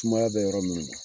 Sumaya bɛ yɔrɔ minnu na